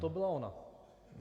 To byla ona.